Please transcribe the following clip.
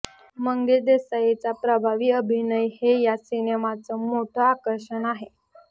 मंगेश देसाईचा प्रभावी अभिनय हे या सिनेमाचं मोठं आकर्षण आहे